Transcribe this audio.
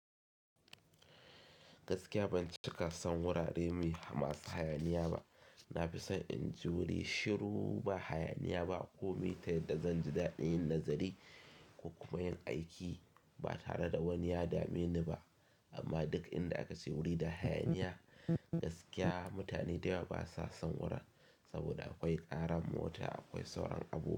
Gaskiya ban cika son wurare mai masu hayaniya ba. Na fi son in ji wuri shiru ba hayaniya ba ko metaye da zan ji daɗin nazari ko kuma yin aiki ba tare da wani ya dame ni ba. Amma duk inda aka ce wuri da hayaniya, gaskiya mutane da yawa ba sa son wurin, saboda akwai ƙaran mota, akwai sauran abubuwa.